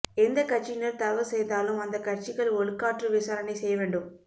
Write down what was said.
எந்த கட்சியினர் தவறு செய்தாலும் அந்த கட்சிகள் ஒழுக்காற்று விசாரணை செய்யவேண்டும்